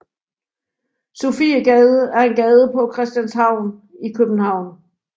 Sofiegade er en gade på Christianshavn i København